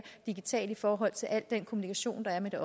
digitalt i forhold til al den kommunikation der er med